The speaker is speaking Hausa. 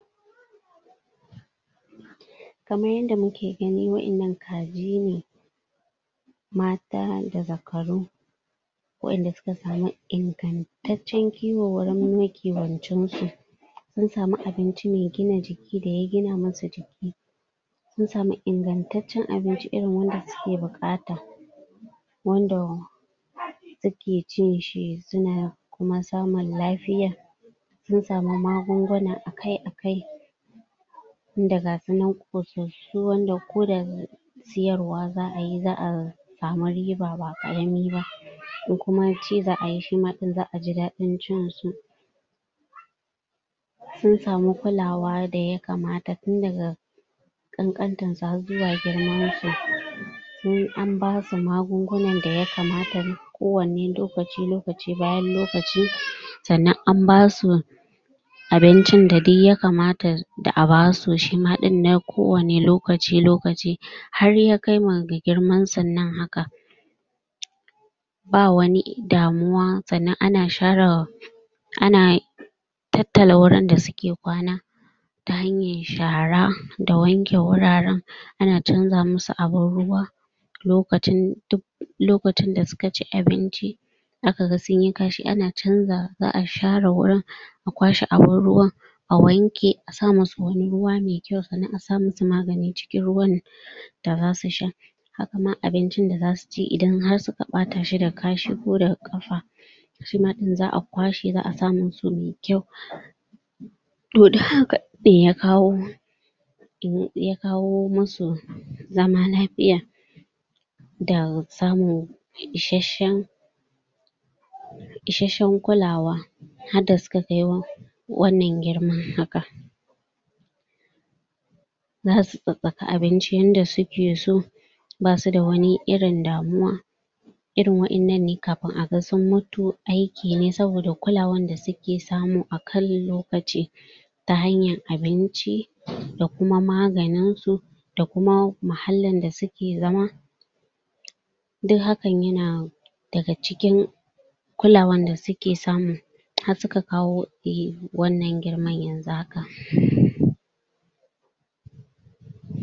Kamar yadda muke gani, wa'innan kaji ne. Mata da zakaru, wa'inda suka samu ingantaccen kiwo, wurin makiwancin su. Sun sami abinci me gina jiki, da ya gina musu jiki. Sun sami ingantaccen abinci irin wanda suke buƙata, wanda? suke cin shi, suna kuma samun lafiya. Sun samu magunguna akai-akai, tunda gasu nan ƙosassu, wanda ko da? siyarwa za ayi, za a samu riba ba ƙarami ba, ko kuma ci za ayi, sima ɗin za aji daɗin cin su. Sun samu kulawa da ya kamata, tun daga ƙanƙantan su har zuwa girman su.? An basu magungunan da ya kamata, ko wanne lokaci-lokaci bayan lokaci, sannan an basu abincin da duk ya kamata? da a basu, shima ɗin na ko wani lokaci-lokaci, har ya kai ma ga girmansun nan haka. Ba wani? damuwa, sannan ana?? tattala wurin da suke kwana, ta hanyar shara, da wanke wuraren. Ana canza musu abun ruwa,? duk lokacin da suka ci abinci. A kaga sunyi kashi? za a share wurin a kwashe abun ruwan, a wanke, a sa musu wani ruwa mai kyau, sannan a sa musu magani cikin ruwan da zasu sha. Haka nan abincin da zasu ci, idan har suka ɓata shi da kashi ko da ƙafa, shi ma ɗin za a kwashe, za a sa musu mai kyau. To, du haka ne ya kawo? masu zama lafiya, da samun? 'ishashshen kulawa, hadda suka kai? wannan girma. Za su tsatstsaka abinci yanda suke so, basu da wani irin damuwa. Irin wa'innan ne kafin aga sun mutu aikin ne, saboda kulawan da suke samu a kan lokaci, ta hanyar abinci? da kuma magani, da kuma muhallin da suke zama. Duk hakan yana daga cikin kulawan da suke samu,? har suka kawo i wannan girman yanzu haka.?